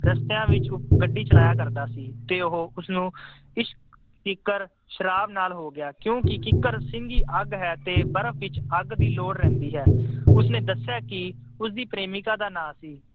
ਰਸਤਿਆਂ ਵਿੱਚ ਗੱਡੀ ਚਲਾਇਆ ਕਰਦਾ ਸੀ ਤੇ ਉਹ ਉਸਨੂੰ ਇਸ਼ਕ ਸ਼ਰਾਬ ਨਾਲ ਹੋ ਗਿਆ ਕਿਉਂਕਿ ਕਿੱਕਰ ਸਿੰਘੀ ਅੱਗ ਹੈ ਤਾਂ ਬਰਫ ਵਿੱਚ ਅੱਗ ਦੀ ਲੋੜ ਰਹਿੰਦੀ ਹੈ। ਉਸਨੇ ਦੱਸਿਆ ਕਿ ਉਸਦੀ ਪ੍ਰੇਮਿਕਾ ਦਾ ਨਾਂ ਸੀ।